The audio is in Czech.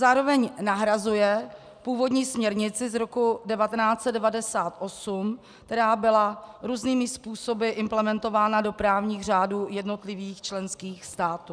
Zároveň nahrazuje původní směrnici z roku 1998, která byla různými způsoby implementována do právních řádů jednotlivých členských států.